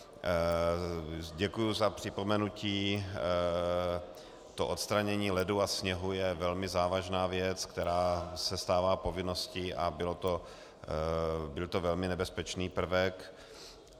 Děkuju za připomenutí - to odstranění ledu a sněhu je velmi závažná věc, která se stává povinností, a byl to velmi nebezpečný prvek.